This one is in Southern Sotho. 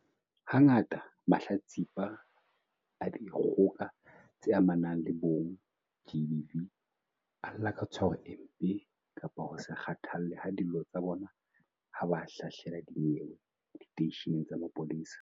Hangata mahlatsipa a dikgoka tse amanang le bong, GBV, a lla ka tshwaro e mpe kapa ho se kgathallwe ha dillo tsa bona ha ba hlahlela dinyewe diteisheneng tsa mapolesa.